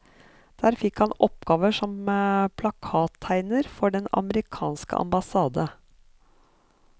Der fikk han oppgaver som plakattegner for den amerikanske ambassade.